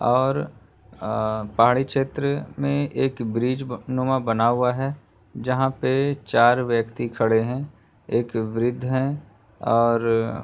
और अ पहाड़ी छेत्र में एक ब्रिज नुमा बना हुआ है। जहाँ पे चार व्यक्ति खड़े हैं एक वृद्ध हैं और --